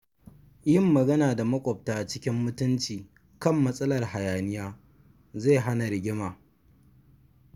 Yin magana da maƙwabta cikin mutunci kan matsalar hayaniya zai hana rigima.